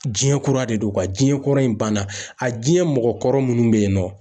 Jiɲɛ kura de don Jiɲɛ kura in ban na ,a jiɲɛ mɔgɔ kɔrɔ munnu be yen nɔ